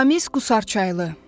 Ramiz Qusarçaylı.